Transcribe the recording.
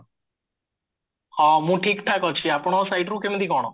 ହଁ ମୁଁ ଠିକ ଠାକ ଅଛି ଆପଣଙ୍କ siteରୁ କେମତି କଣ